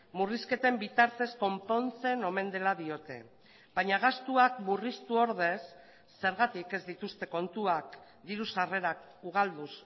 murrizketen bitartez konpontzen omen dela diote baina gastuak murriztu ordez zergatik ez dituzte kontuak diru sarrerak ugalduz